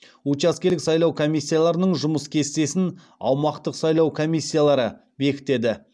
учаскелік сайлау комиссияларының жұмыс кестесін аумақтық сайлау комиссиялары бекітеді